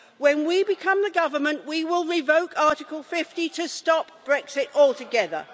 When we become the Government, we will revoke Article⁰50 to stop Brexit altogether.